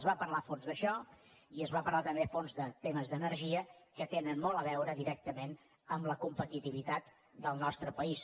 es va parlar a fons d’això i es va parlar a fons també de temes d’energia que tenen molt a veure directament amb la competitivitat del nostre país